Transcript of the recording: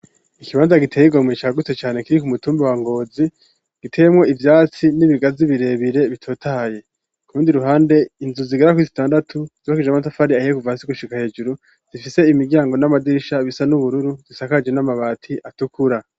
Ikibanza giteye igomwe cagutse cane kiri ku mutumba wa ngozi giteyemwo ivyatsi n'ibigazi birebire bitotaye ku rundi ruhande inzu zigera kuri zitandatu zubakishije amatafari ahiye kuva hasi gushika hejuru zifise imiryango n'amadirisha bisa n'ubururu gisakaje n'amabati atukura.